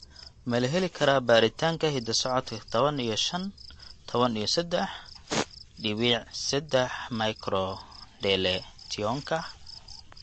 Ma la heli karaa baaritaanka hidda-socodka tawan iyo shaan q tawan iyo sedaax diwiic sedaax microdeletionka?